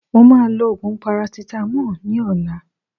Mo ma lo òògùn parasitamoli ní ọ̀la.